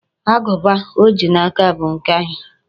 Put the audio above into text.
Agụba o ji n'aka bụ nke anyị.